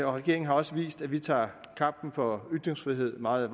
regeringen har også vist at vi tager kampen for ytringsfrihed meget